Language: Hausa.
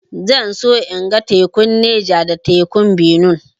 Zan so in ga tekun Neja da tekun Benue